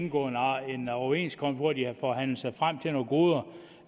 indgået en overenskomst hvor de havde forhandlet sig frem til nogle goder